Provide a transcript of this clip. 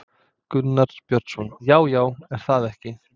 Gunnar Björnsson: Já, já, er það ekki?